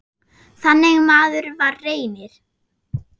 Þannig maður var Reynir.